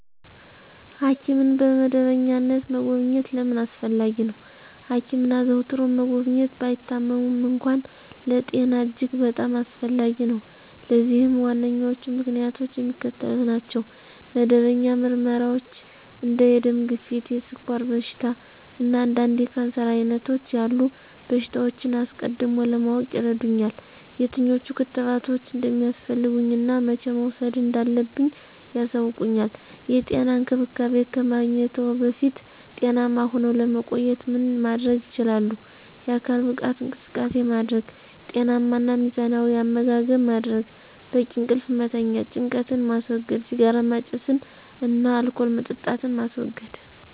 ሐኪምን በመደበኛነት መጎብኘት ለምን አስፈለጊ ነው? ሐኪምን አዘውትሮ መጎብኘት፣ ባይታመሙም እንኳ፣ ለጤና እጅግ በጣም አስፈላጊ ነው። ለዚህም ዋነኞቹ ምክንያቶች የሚከተሉት ናቸው። መደበኛ ምርመራዎች እንደ የደም ግፊት፣ የስኳር በሽታ፣ እና አንዳንድ የካንሰር ዓይነቶች ያሉ በሽታዎችን አስቀድሞ ለማወቅ ይረዱኛል። የትኞቹ ክትባቶች እንደሚያስፈልጉኝ እና መቼ መውሰድ እንዳለብኝ ያሳውቁኛል። *የጤና እንክብካቤ ከማግኘትዎ በፊት ጤናማ ሁነው ለመቆየት ምን ማድረግ ይችላሉ?*የአካል ብቃት እንቅስቃሴ ማድረግ * ጤናማ እና ሚዛናዊ አመጋገብ ማድረግ: * በቂ እንቅልፍ መተኛት * ጭንቀትን ማስወገድ * ሲጋራ ማጨስን እና አልኮል መጠጣትን ማስወገድ: